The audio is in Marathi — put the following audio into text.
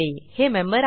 हे मेंबर आहे